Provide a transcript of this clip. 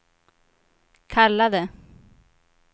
kallade